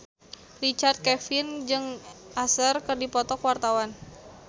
Richard Kevin jeung Usher keur dipoto ku wartawan